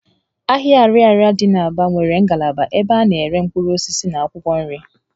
Ahịa Ariaria dị n' Aba nwere ngalaba ebe a na-ere mkpụrụ osisi na akwụkwọ nri